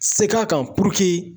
Segin a kan